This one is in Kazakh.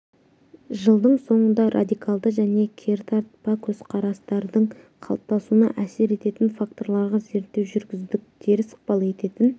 жылдың соңында радикалды және кертартпа көзқарастардың қалыптасуына әсер ететін факторларға зерттеу жүргіздік теріс ықпал ететін